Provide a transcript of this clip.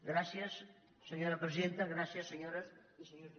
gràcies senyora presidenta gràcies senyores i senyors diputats